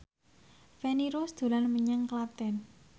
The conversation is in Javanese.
Feni Rose dolan menyang Klaten